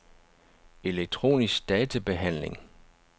elektronisk databehandling